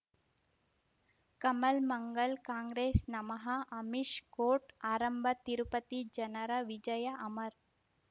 ಕಮಲ್ ಮಂಗಳ್ ಕಾಂಗ್ರೆಸ್ ನಮಃ ಅಮಿಷ್ ಕೋರ್ಟ್ ಆರಂಭ ತಿರುಪತಿ ಜನರ ವಿಜಯ ಅಮರ್